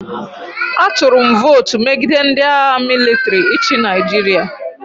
Atụrụ m votu megide ndị agha mịlịtrị ịchị Nigeria.